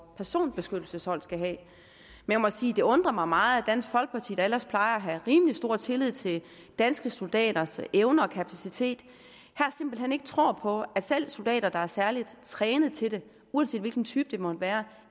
personbeskyttelseshold skal have jeg må sige at det undrer mig meget at dansk folkeparti der ellers plejer at have rimelig stor tillid til danske soldaters evner og kapacitet her simpelt hen ikke tror på at selv soldater der er særligt trænet til det uanset hvilken type det måtte være